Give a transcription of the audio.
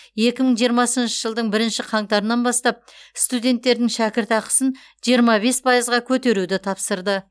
екі мың жиырмасыншы жылдың бірінші қаңтарынан бастап студенттердің шәкіртақысын жиырма бес пайызға көтеруді тапсырды